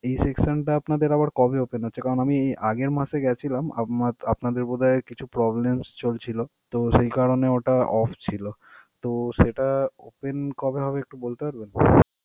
এই section টা আপনাদের আবার কবে open হচ্ছে কারণ আমি আগের মাসে গেছিলাম, আমার~ আপনার তো বোধ হয় আর কিছু problems চলছিল. তো সেই কারণে ওটা off ছিল. তো সেটা open কবে হবে একটু বলতে পারবেন?